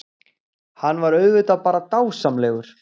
Hann var auðvitað bara dásamlegur.